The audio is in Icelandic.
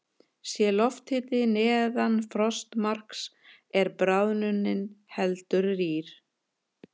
Sé lofthiti neðan frostmarks er bráðnunin heldur rýr.